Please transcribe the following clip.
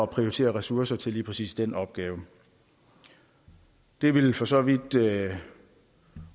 prioritere ressourcer til lige præcis den opgave det vil for så vidt